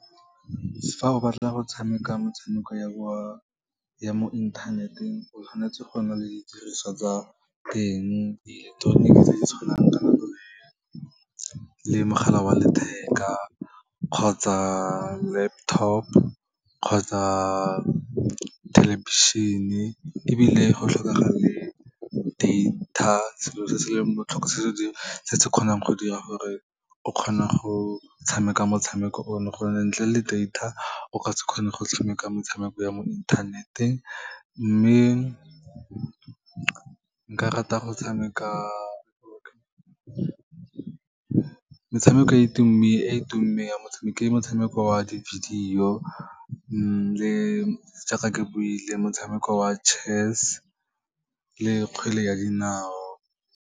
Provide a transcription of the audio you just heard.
Fa o batla go tshameka motshameko ya mo inthaneteng, o tshwanetse go nna le di diriswa tsa teng, dieleketroniki tse di tshwanangkanang le mogala wa letheka, kgotsa laptop, kgotsa thelebišene, ebile go tlhokega le data, selo se se leng botlhokwa, se se kgonang go dira gore o kgone go tshameka motshameko ono, gonne ntle le data, o ka se kgone go tshameka metshameko ya mo inthaneteng. Mme nka rata go tshameka metshameko, e tumeng ya metshameko, ke motshameko wa di-video, jaaka ke buile, motshameko wa chess le kgwele ya dinao.